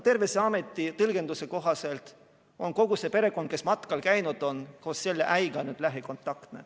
Terviseameti tõlgenduse kohaselt on kogu see perekond, kes matkal käis koos selle äiaga, nüüd lähikontaktne.